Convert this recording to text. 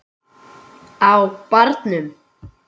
Á barnum!